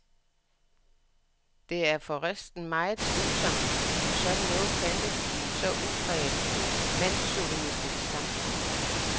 Det er for resten meget tvivlsomt, om sådan noget fandtes i et så udpræget mandschauvinistisk samfund.